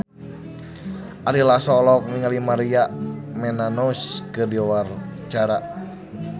Ari Lasso olohok ningali Maria Menounos keur diwawancara